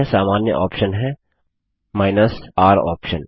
अन्य सामान्य ऑप्शन है r ऑप्शन